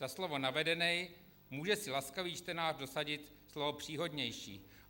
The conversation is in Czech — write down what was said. Za slovo navedenej může si laskavý čtenář dosadit slovo příhodnější.